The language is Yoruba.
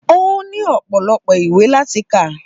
Ó ní ọ̀pọ̀lọpọ̀ ìwé láti kà